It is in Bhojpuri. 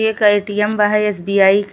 एक एटीएम बा है एसबीआई क --